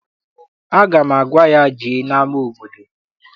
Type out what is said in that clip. Aga m agwa ya, jee n'ama obodo!